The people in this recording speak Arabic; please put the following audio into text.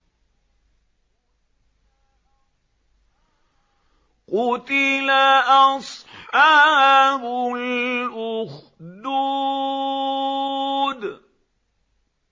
قُتِلَ أَصْحَابُ الْأُخْدُودِ